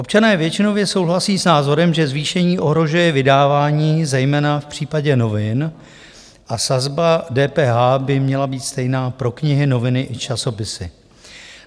Občané většinově souhlasí s názorem, že zvýšení ohrožuje vydávání zejména v případě novin, a sazba DPH by měla být stejná pro knihy, noviny i časopisy.